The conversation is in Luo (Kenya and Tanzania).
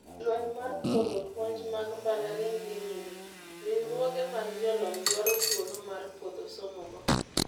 Lweny mar puodho puonj mag mbalariany dhi nyime. Riwruoge mag jolony dwaro thuolo mar puodho somo go.